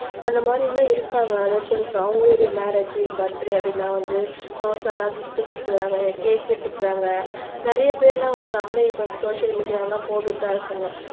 அந்த மாதிரி எல்லாம் இருக்காங்க அதான் சொல்லு அவங்களுடைய மேரேஜ் பர்த்டே அப்படினா வந்து எல்லாம் கிப்ட் கொடுத்துக்குறாங்க கேக் வேட்டிக்குறாங்க நிறைய பேர் எல்லாம் வந்து நம்மளே இப்ப சோசியல் மீடியா எல்லாம் போட்டு தான் இருக்காங்க